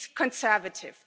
It's conservative.